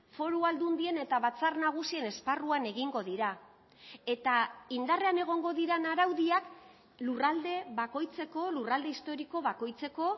foru aldundien eta batzar nagusien esparruan egingo dira eta indarrean egongo diren araudiak lurralde bakoitzeko lurralde historiko bakoitzeko